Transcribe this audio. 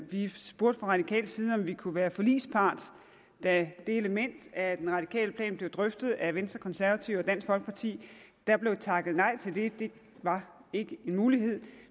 vi spurgte fra radikal side om vi kunne være forligspart da det element af den radikale plan blev drøftet af venstre konservative og dansk folkeparti der blev takket nej til det det var ikke en mulighed